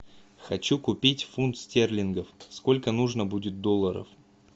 хочу купить фунт стерлингов сколько нужно будет долларов